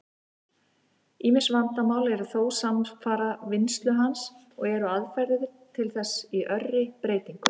Ýmis vandamál eru þó samfara vinnslu hans, og eru aðferðir til þess í örri breytingu.